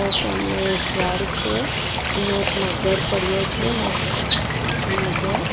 સામે એક ઝાડ છે અને એક મગર પડ્યો છે મો મોટો.